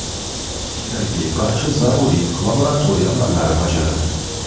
Kerakli barcha zaruriy laboratoriya amallari bajarildi.